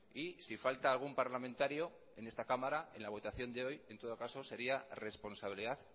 y si falta algún parlamentario en esta cámara en la votación de hoy en todo caso sería responsabilidad